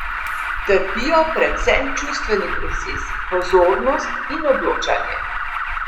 Trpijo predvsem čustveni procesi, pozornost in odločanje.